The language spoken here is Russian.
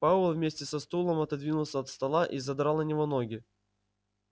пауэлл вместе со стулом отодвинулся от стола и задрал на него ноги